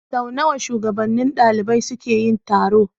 Sau nawa shugabannin ɗalibai suke yi taro?